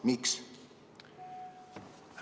Miks?